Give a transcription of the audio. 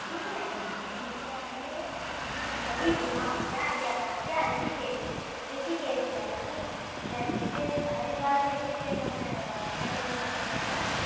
ઈ જ ને? હા. means કે, મે, ત્યાં જ ગ્યા હતા. ક્યા રીષિકેશ, રીષિકેશ ગ્યા હતા જો. એટલે રીષિકેશ, હરીદ્વારથી રીષિકેશ અમે family સાથે ગ્યા હતા